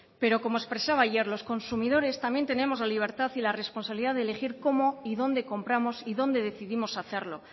pero como expresaba ayer los consumidores también tenemos la libertad y la responsabilidad de elegir cómo y dónde compramos y dónde decidimos hacerlo